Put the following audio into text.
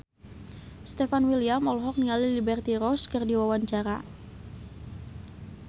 Stefan William olohok ningali Liberty Ross keur diwawancara